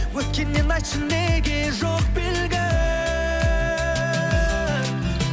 өткеннен айтшы неге жоқ белгі